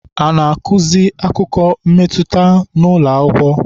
A na-azụki akụkọ mmetụta n'ụlọ akwụkwọ?